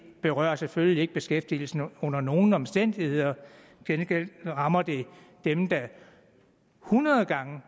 berører selvfølgelig ikke beskæftigelsen under nogen omstændigheder til gengæld rammer det dem der hundrede gange